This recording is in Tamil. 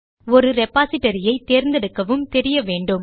ஒரு repositoryஐ தேர்ந்தெடுக்கவும் தெரிய வேண்டும்